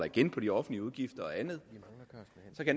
igen på de offentlige udgifter og andet